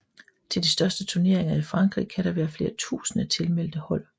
Til de største turneringer i Frankrig kan der være flere tusinde tilmeldte hold